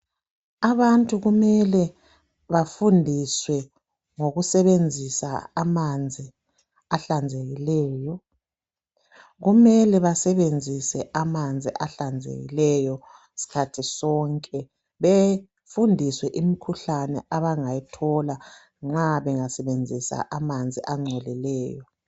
Abantu kumele bafundiswe ngokusebenzisa amanzi ehlanzekileyo. Kumele besenzise amanzi ehlanzekileyo sikhathi sonke. Befundiswe imikhuhlane abangayithola uma bangasebenzisa amanzi agcolileyo.